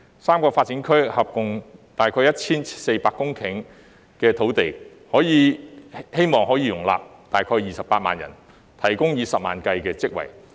三個發展區合共約 1,400 公頃，可望容納約28萬人，提供以十萬計的職位。